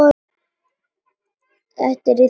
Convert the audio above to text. Þetta er í þriðja sinn.